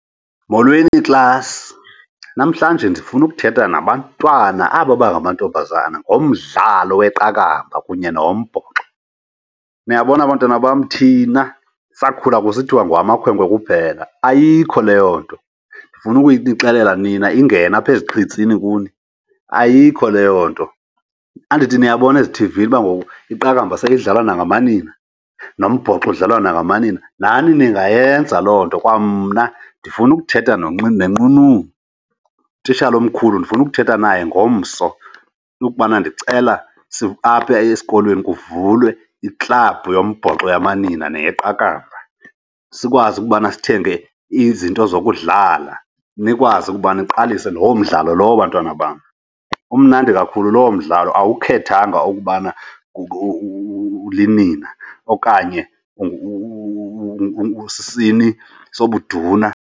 Molweni, klasi. Namhlanje ndifuna ukuthetha nabantwana aba bangamantombazana ngomdlalo weqakamba kunye nowombhoxo. Niyabona bantwana bam thina sakhula kusithiwa ngowamakhwenkwe kuphela, ayikho leyo nto. Ndifuna ukunixelela nina ingena apha eziqhitsini kuni, ayikho leyo nto. Andithi niyabona ezithivini uba ngoku iqakamba seyidlalwana nangamanina, nombhoxo udlalwa nangamanina? Nani ningayenza loo nto. Kwamna ndifuna ukuthetha nenqununu, utitshala omkhulu, ndifuna ukuthetha naye ngomso into yokubana ndicela apha esikolweni kuvulwe iklabhu yombhoxo yamanina weqakamba, sikwazi ukubana sithenge izinto zokudlala nikwazi ukuba niqalise loo mdlalo lowo bantwana bam. Umnandi kakhulu lowo mdlalo awukhethanga ukubana ulinina okanye usisini sobuduna.